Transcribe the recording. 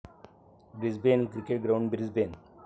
Brisbane cricket ground, Brisbane